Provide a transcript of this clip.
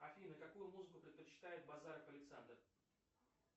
афина какую музыку предпочитает базаров александр